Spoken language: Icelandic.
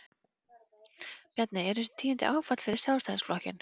Bjarni, eru þessi tíðindi áfall fyrir Sjálfstæðisflokkinn?